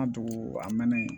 An dugu a mɛnna yen